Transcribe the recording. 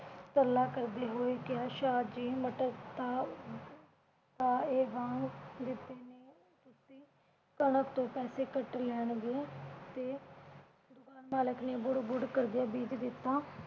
ਤਰਲਾ ਕਰਦੇ ਹੋਏ ਕਿਹਾ ਸ਼ਾਹ ਜੀ ਮਟਰ ਤਾ ਦਿੱਤੇ ਨੇ। ਤੁਸੀਂ ਕਣਕ ਤੋਂ ਪੈਸੇ ਕੱਟ ਲੈਣ ਗੇ ਤੇ ਦੁਕਾਨ ਮਾਲਕ ਨੇ ਬੁੜ ਬੁੜ ਕਰਦਿਆਂ ਬੀਜ ਦਿੱਤਾ।